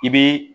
I bɛ